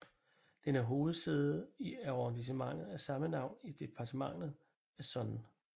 Den er hovedsæde i arrondissementet af samme navn i departementet Essonne